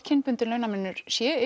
kynbundinn launamunur sé